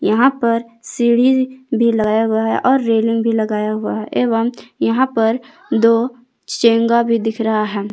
यहां पर सीढ़ी भी लगाया हुआ है और रेलिंग भी लगाया हुआ है एवं यहां पर दो चोंगा भी दिख रहा है।